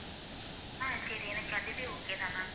ஆஹ் சரி எனக்கு அதுவே okay தான் ma'am